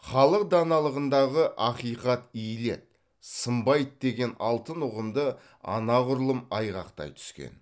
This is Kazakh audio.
халық даналығындағы ақиқат иіледі сынбайды деген алтын ұғымды анағұрлым айғақтай түскен